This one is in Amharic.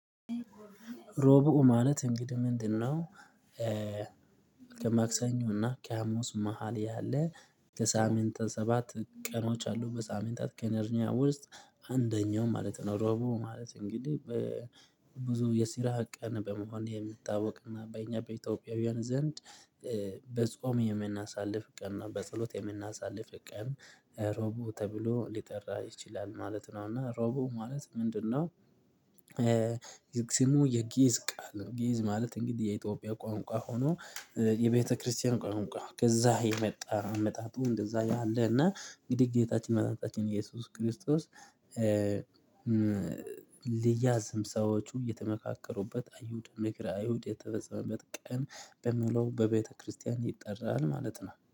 ሮቡኡ ማለት እንግዲህ ምንድነው ከማክሰኞና ከሀሙስ መሃል ያለ ከሳምንት ሰባት ቀኖች አሉ በሳሚንታት ከነዚያ ውስጥ አንደኛው ማለት ነው። ሮቡ ማለት እንግዲህ ብዙ የስራ ቀን በመሆን የሚታወቅና በእኛ በኢትዮጵያውያን ዘንድ በጾም የምናሳልፍ ቀን ነው። በጸሎት የምናሳልፍ ቀን ሮቡ ተብሎ ሊጠራ ይችላል ማለት ነው። እና ሮቡ ማለት ምንድነው ስሙ የጊዒዝ ቃል ነው። ጊዒዝ ማለት እንግዲህ የኢትዮጵያ ቋንቋ ሆኖ የቤተክርስቲያን ቋንቋ ከዛ የመጣ አመጣጡ እንደዛ ያለና እንደ ጌታችን አምላካች እየሱስ ክርስቶስ ልያዝም ሰዎቹ የተመካከሩበት አይሁድ ምክረ አይሁድ የተፈጸመበት ቀን በሙሉ፤ በቤተክርስቲያን ይጠራል ማለት ነው።